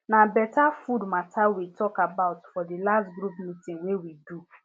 na better food matter we talk about for the last group meeting wey we do